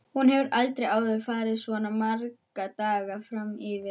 Hún hefur aldrei áður farið svona marga daga fram yfir.